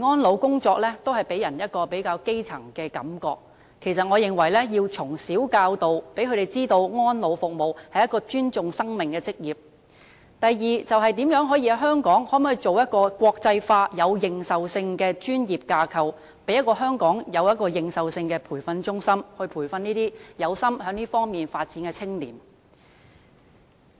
安老工作一直予人較基層的感覺，我認為首先應從小教導，讓年青人知道安老服務是一門尊重生命的行業；第二，可否在香港建立一個國際化、有認受性的專業架構，成立有認受性的培訓中心，培育有志在這方面發展的青年，